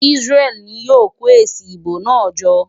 Isreal ni yóò kó èsì ìbò náà jọ?